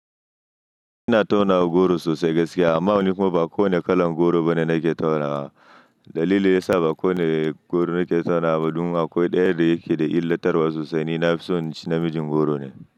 Ina tauna goro sosai gaskiya amma nikuma ba kowane kalan goro bane nake tauna. Dalili yasa ba kowane goro nake tauna ma dun akwai ɗaya da yake da illatarwa sosai ni nafison in ci na mijin goro ne.